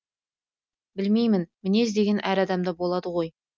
білмеймін мінез деген әр адамда болады ғой